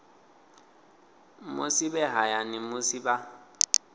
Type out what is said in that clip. musi vhe hayani musi vha